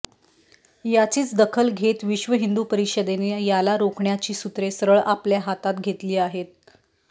याचीच दखल घेत विश्व हिंदू परिषदेने याला रोखण्याची सूत्रे सरळ आपल्या हातात घेतली आहेत